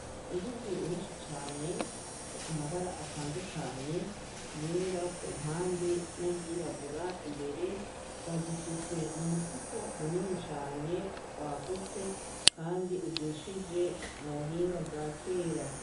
Inzuzi nyinshi cane zifise amabara atandukanye, yera ku mpande n'ayirabura imbere, bazisutse mu mufuko munini cane wagutse kandi ujishije mu buhinga bwa kera.